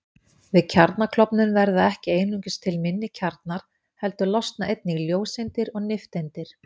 Við kjarnaklofnun verða ekki einungis til minni kjarnar heldur losna einnig ljóseindir og nifteindir.